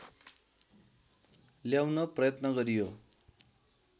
ल्याउन प्रयत्न गरियो